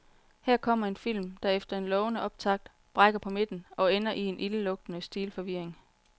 Her kommer en film, der efter en lovende optakt brækker på midten og ender i en ildelugtende stilforvirring.